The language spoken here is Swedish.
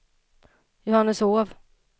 Johanneshov